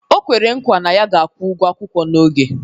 O kwere nkwa na ya ga-akwụ ụgwọ akwụkwọ n'oge